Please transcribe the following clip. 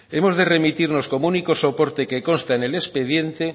hemos de remitirnos como único soporte que consta en el expediente